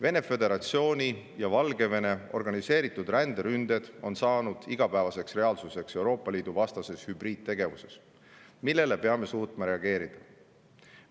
Vene Föderatsiooni ja Valgevene organiseeritud ränderünded on saanud igapäevaseks reaalsuseks Euroopa Liidu vastases hübriidtegevuses, millele peame suutma reageerida.